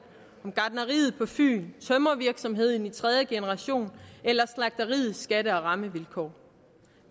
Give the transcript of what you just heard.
gartneriet på fyn tømrervirksomheden i tredje generation eller slagteriets skatte og rammevilkår